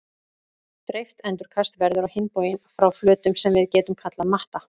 Dreift endurkast verður á hinn bóginn frá flötum sem við getum kallað matta.